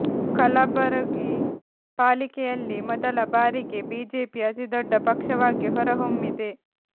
ಕಲಬುರಗಿ ಪಾಲಿಕೆಯಲ್ಲಿ ಮೊದಲ ಬಾರಿಗೆ ಬಿಜೆಪಿ ಅತಿ ದೊಡ್ಡ ಪಕ್ಷವಾಗಿ ಹೊರಹೊಮ್ಮಿದೆ